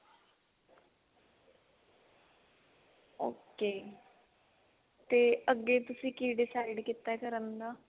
ok ਤੇ ਅੱਗੇ ਤੁਸੀਂ ਕਿ decide ਕੀਤਾ ਕਰਨ ਦਾ